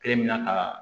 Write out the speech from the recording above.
Kelen bi na ka